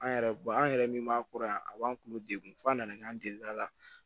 An yɛrɛ an yɛrɛ min m'a kura yan a b'an k'olu degun fo an na k'an delila